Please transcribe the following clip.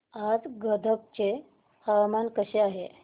आज गदग चे हवामान कसे आहे